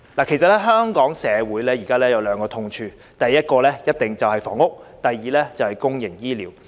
其實，香港社會現時有兩個痛處，第一個肯定是房屋，第二個就是公營醫療。